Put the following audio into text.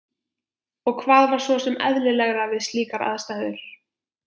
Og hvað var svo sem eðlilegra við slíkar aðstæður?